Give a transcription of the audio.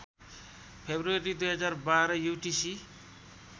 February २०१२ UTC